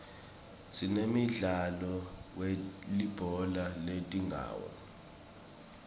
sinemdzalo welibhola letingawo